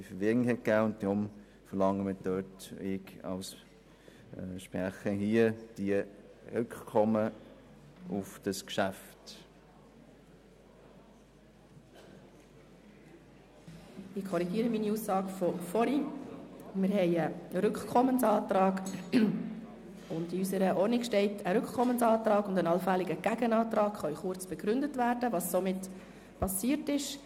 Es liegt ein Rückkommensantrag vor, und in der Geschäftsordnung des Grossen Rates (GO) steht, dass eine Rückkommensantrag und ein allfälliger Gegenantrag kurz begründet werden können, was soeben passiert ist.